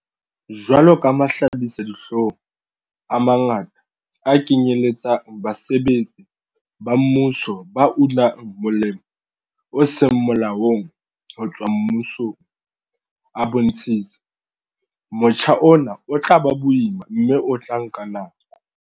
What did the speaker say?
Jwalo ka mahlabisa-dihlong a mangata a kenyeletsang basebetsi ba mmuso ba unang molemo o seng molaong ho tswa mmusong a bontshitse, motjha ona o tla ba boima mme o tla nka nako.